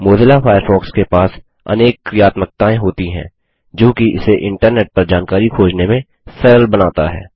Mozilla Firefox के पास अनेक क्रियात्मक्ताएँ होती हैं जोकि इसे इन्टरनेट पर जानकारी खोजने में सरल बनाता है